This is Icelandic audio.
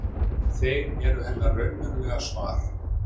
Þeir eru hennar raunverulega svar.